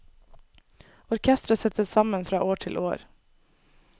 Orkestret settes sammen fra år til år.